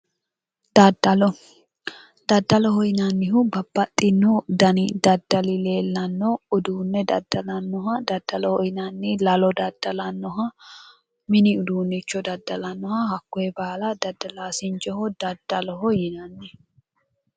Dadalo daddaloho yinannihu babbaxxinno dani daddali leellanno uduunne daddalannoha daddaloho yinanni lalo daddalannoha mini uduunnicho daddalannoha hakkoye baala dadalaasinchoho daddaloho yinanni.